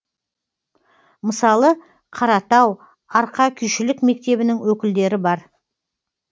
мысалы қаратау арқа күйшілік мектебінің өкілдері бар